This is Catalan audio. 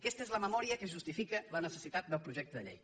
aquesta és la memòria que justifica la necessitat del projecte de llei